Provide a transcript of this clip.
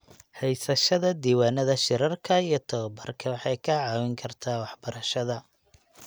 Haysashada diiwaannada shirarka iyo tababarka waxay kaa caawin kartaa waxbarashada.